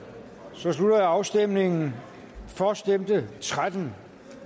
så slutter jeg afstemningen for stemte tretten